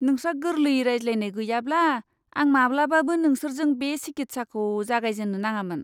नोंस्रा गोरलै रायज्लायनाय गैयाब्ला, आं माब्लाबाबो नोंसोरजों बे सिकित्साखौ जागायजेननो नाङामोन!